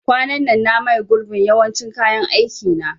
Kwanan nan na maye gurbin yawancin kayan aikin na